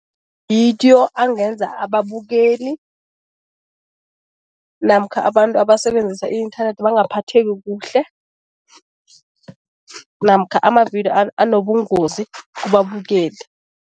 angenza ababukeli namkha abantu abasebenzisa i-inthanethi bangaphatheki kuhle namkha amavidiyo anobungozi kubabukeli.